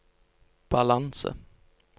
balanse